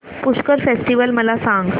Pushkar festival मला सांग